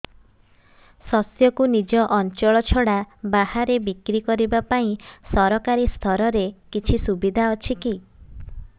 ଶସ୍ୟକୁ ନିଜ ଅଞ୍ଚଳ ଛଡା ବାହାରେ ବିକ୍ରି କରିବା ପାଇଁ ସରକାରୀ ସ୍ତରରେ କିଛି ସୁବିଧା ଅଛି କି